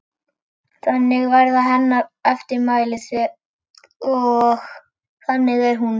Þannig verða hennar eftirmæli og þannig er hún.